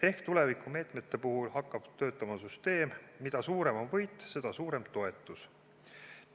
Ehk tulevikumeetmete puhul hakkab töötama süsteem, et mida suurem on võit, seda suurem toetus.